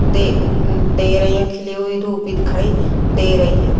दे दे रही हूं खिली हुई धूप भी दिखाई दे रही है।